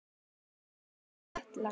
Þínar Hildur og Katla.